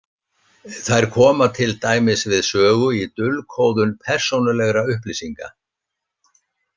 Þær koma til dæmis við sögu í dulkóðun persónulegra upplýsinga.